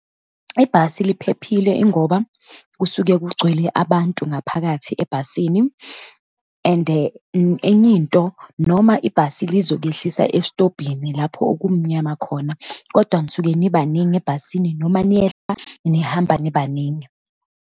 Ibhasi liphephile, ingoba kusuke kugcwele abantu ngaphakathi ebhasini and enye into, noma ibhasi lizokuyehlisa esitobhini, lapho okumnyama khona, kodwa nisuke nibaningi ebhasini, noma niyehla nihamba nibaningi.